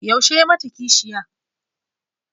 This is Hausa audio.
Yaushe ya yi mata kishiya?